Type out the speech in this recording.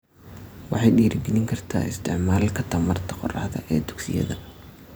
Waxay dhiirigelin kartaa isticmaalka tamarta qorraxda ee dugsiyada.